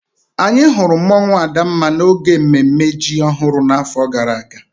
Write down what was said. Anyị hụrụ mmụọnwu Adanma n'oge mmemme ji ọhụrụ n'afọ gara aga